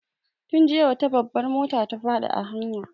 Tun jiya wata babbar mota ta faɗi a hanya.